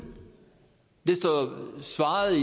det står i svaret